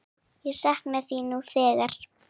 Ég sakna þín nú þegar.